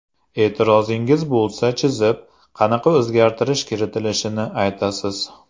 E’tirozingiz bo‘lsa, chizib, qanaqa o‘zgartirish kiritilishini aytasiz.